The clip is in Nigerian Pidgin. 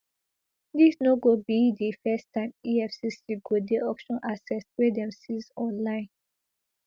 dis no go be di first time efcc go dey auction assets wey dem seize online